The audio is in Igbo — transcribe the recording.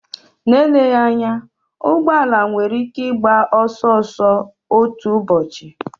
Ma eleghị anya, ụgbọ ala nwere ike ịgba ọsọ ọsọ otu ụbọchị.